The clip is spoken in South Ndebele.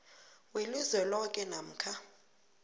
welizwe loke namkha